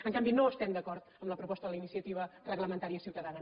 en canvi no estem d’acord amb la proposta de la iniciativa reglamentària ciutadana